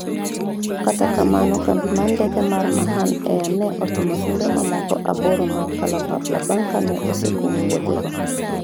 kata kamano, kambi mar ndeke mar Mahan air ne otimo limbe mamoko aboro mag kalapapla bang' kane osekum wuodhego